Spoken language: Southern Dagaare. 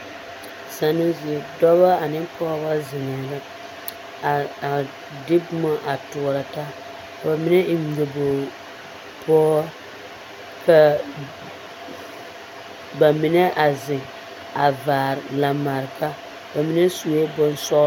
Zannoo zie, dɔbɔ ane pɔgebɔ zeŋɛɛ la a de boma a toɔrɔ taa ka bamine eŋ nyobogi pɔgere ka bamine a zeŋ a vaare lambareka bamine sue bonsɔɔlɔ.